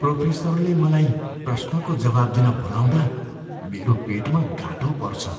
प्रोफेसरले मलाई प्रश्नको जवाफ दिन बोलाउँदा मेरो पेटमा गाँठो पर्छ।